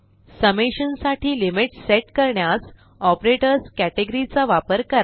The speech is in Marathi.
समेशन साठी लिमिट्स सेट करण्यास ऑपरेटर्स कॅटेगरी चा वापर करा